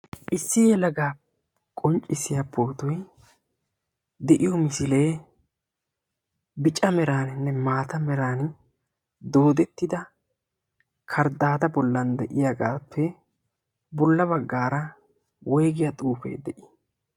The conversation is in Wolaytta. issi halagaa qonccissiyaa pootuy de'iyo misilee bicca meraaninne maata meran doodettida karddaada bollan de'iyaagaappe bolla baggaara woigiyaa xuufee de'ii?